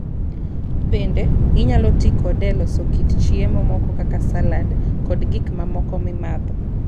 Bende, inyalo ti kode e loso kit chiemo moko kaka salad, kod gik mamoko mimadho.